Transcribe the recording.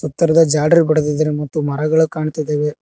ತರದ ಜಾಲ್ರಿ ಬಡ್ಡಿದಾರೆ ಮತ್ತು ಮರಗಳು ಕಾಣ್ತಾ ಇದವೆ.